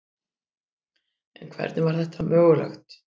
En hvernig var þetta mögulegt?